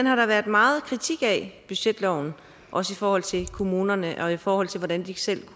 har været meget kritik af budgetloven også i forhold til kommunerne og i forhold til hvordan de selv